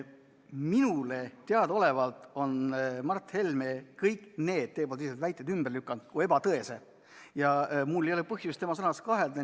Minule teadaolevalt on Mart Helme kõik need väited ümber lükanud kui ebatõesed ja mul ei ole põhjust tema sõnades kahelda.